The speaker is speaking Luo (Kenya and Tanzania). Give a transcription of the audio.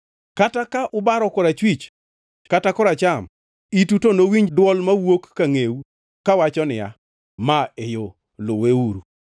Kata ka ubaro korachwich kata koracham, itu to nowinj dwol mawuok ka ngʼeu, kawacho niya, “Ma e yo; luweuru.”